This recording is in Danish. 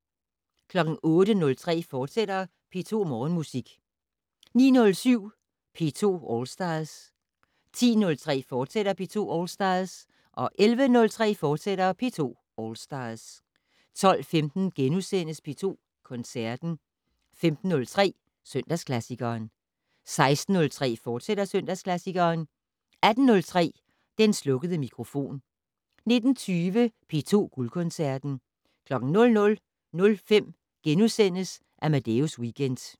08:03: P2 Morgenmusik, fortsat 09:07: P2 All Stars 10:03: P2 All Stars, fortsat 11:03: P2 All Stars, fortsat 12:15: P2 Koncerten * 15:03: Søndagsklassikeren 16:03: Søndagsklassikeren, fortsat 18:03: Den slukkede mikrofon 19:20: P2 Guldkoncerten 00:05: Amadeus Weekend *